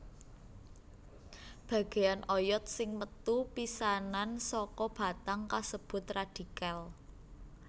Bagéyan oyod sing metu pisanan saka batang kasebut radikel